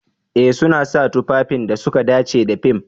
Eh suna sa tufafin da suka dace da fim.